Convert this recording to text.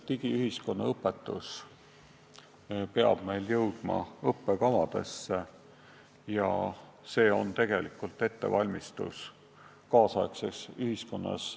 Digiühiskonna õpetus peab jõudma õppekavadesse, see on tegelikult ettevalmistus elamiseks tänapäeva ühiskonnas.